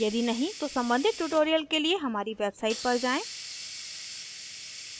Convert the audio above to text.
यदि नहीं तो सम्बंधित ट्यूटोरियल के लिए हमारी वेबसाइट पर जाएँ